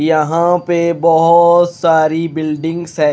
यहां पे बहोत सारी बिल्डिंग्स है।